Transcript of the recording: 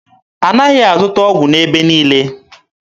A naghị azụta ọgwụ n'ebe niile.